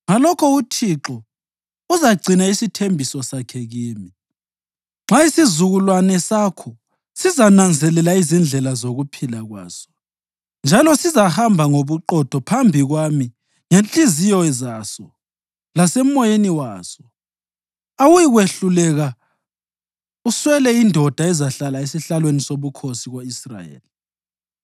ngalokho uThixo uzagcina isithembiso sakhe kimi: ‘Nxa isizukulwane sakho sizananzelela izindlela zokuphila kwaso, njalo sizahamba ngobuqotho phambi kwami ngezinhliziyo zaso lasemoyeni waso, awuyikwehluleka uswele indoda ezahlala esihlalweni sobukhosi ko-Israyeli.’